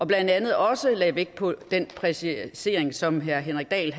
blandt andet også vægt på den præcisering som herre henrik dahl